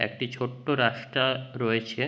একটি ছোট্ট রাস্তা রয়েছে।